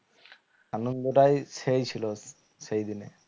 আনন্দটাই সেই ছিল সেই দিনে